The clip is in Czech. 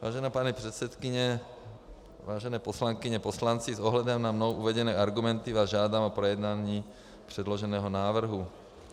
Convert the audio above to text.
Vážená paní předsedkyně, vážené poslankyně, poslanci, s ohledem na mnou uvedené argumenty vás žádám o projednání předloženého návrhu.